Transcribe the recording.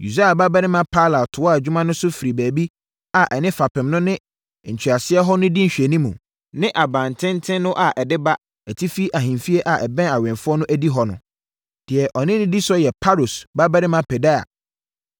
Usai babarima Palal toaa adwuma no so firii baabi a ɛne fapem no ne ntweasoɔ hɔ no di nhwɛanimu, ne abantenten no a ɛde ba atifi ahemfie a ɛbɛn awɛmfoɔ no adihɔ no. Deɛ ɔdi ne so yɛ Paros babarima Pedaia,